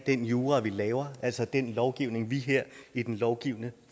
den jura vi laver altså den lovgivning vi her i den lovgivende